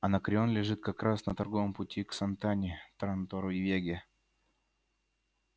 анакреон лежит как раз на торговом пути к сантани трантору и веге